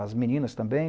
As meninas também.